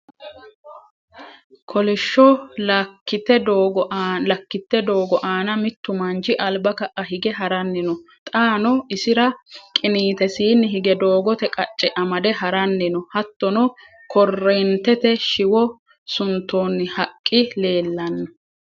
Kolishsho lakkitte doogo aana mittu manchi alba ka'a hige ha'rannni no: xaano isi'ra qiniitesiinni hige doogote qacce amade ha'rannni no. Hattono Korreentete shiwo suntoonni haqqi leellanno.